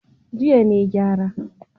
Jiya ne na gyara.